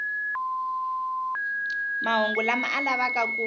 mahungu lama a lavaka ku